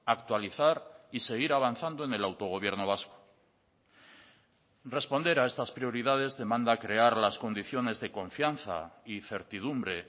actualizar y seguir avanzando en el autogobierno vasco responder a estas prioridades demanda crear las condiciones de confianza y certidumbre